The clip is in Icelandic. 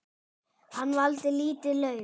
Hann valdi lítið lauf.